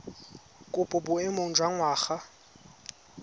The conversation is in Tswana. kopo mo boemong jwa ngwana